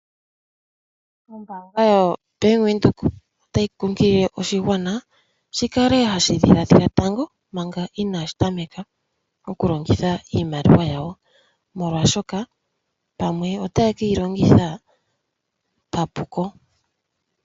Ombaanga yoBank Windhoek otayi kunkilile oshigwana shi kale hashi dhilaadhila tango manga inaashi tameka oku longitha iimaliwa yawo, molwaashoka pamwe otaye keyi longitha papuko.